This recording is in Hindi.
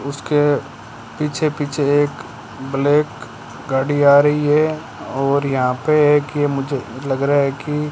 उसके पीछे पीछे एक ब्लैक गाड़ी आ रही है और यहां पे है कि मुझे लग रहा है कि --